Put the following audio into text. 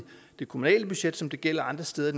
det kommunale budget som det gælder andre steder